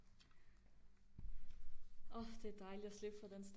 åh det er dejligt at slippe for den